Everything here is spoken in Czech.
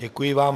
Děkuji vám.